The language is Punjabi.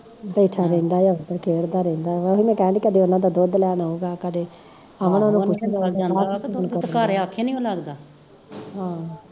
ਬੈਠਾ ਰਹਿੰਦਾ ਐ ਤੇ ਖੇਡਦਾ ਰਹਿੰਦਾ ਐ ਉਹਨੂੰ ਮੈਂ ਕਹਿੰਦੀ ਓਹਨਾਂ ਦਾ ਦੁੱਧ ਲੈਣ ਆਊਗਾ ਕਦੇ ਆਹੋ